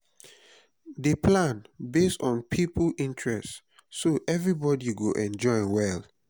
dey plan based on people interest so everybody go enjoy well